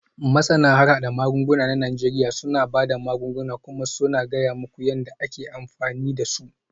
Masana harhada magunguna a Najeriya suna ba da magunguna kuma suna gaya muku yadda ake amfani da su.